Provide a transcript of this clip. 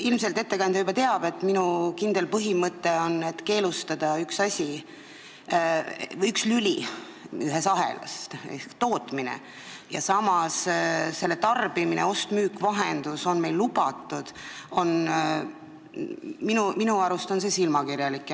Ilmselt ettekandja juba teab, et minu kindel põhimõte on see: kui keelustatakse üks asi või üks lüli ühes ahelas ehk tootmine ja samas tarbimine ning ost-müük-vahendus on lubatud, siis minu arust on see silmakirjalik.